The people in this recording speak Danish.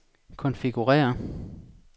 konfigurér